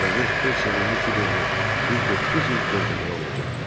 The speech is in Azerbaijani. Qaragöz öz sevimli Kiberini düz doqquz il gözləməli olacaqdı.